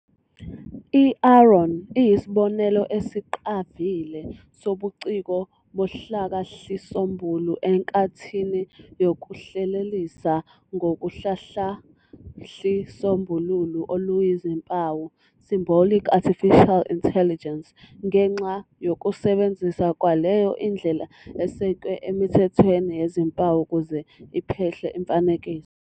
I-AARON iyisibonelo esiqavile sobuciko bohlakahlisombulu enkathini yokuhlelelisa ngohlakahlisombulu oluyizimpawu "symbolic artificial intelligence" ngenxa yokusebenzisa kwayo indlela esekwe emithethweni yezimpawu ukuze iphehle imifanekiso.